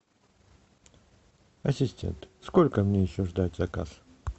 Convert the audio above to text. ассистент сколько мне еще ждать заказ